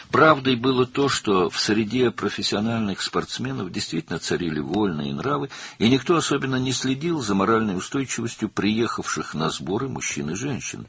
Həqiqət o idi ki, peşəkar idmançılar arasında həqiqətən də sərbəst əxlaq hökm sürürdü və heç kim toplanışlara gələn kişi və qadınların mənəvi sabitliyinə xüsusilə nəzarət etmirdi.